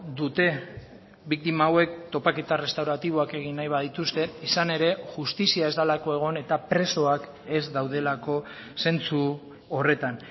dute biktima hauek topaketa errestauratiboak egin nahi badituzte izan ere justizia ez delako egon eta presoak ez daudelako zentzu horretan